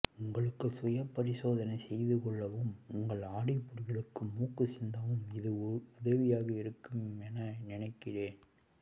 உங்களுக்கு சுயபரிசோதனை செய்துகொள்ளவும் உங்கள் அடிப்பொடிகளுக்கு மூக்கு சிந்தவும் இது உதவியாக இருக்கும் என நினைக்கிறேன்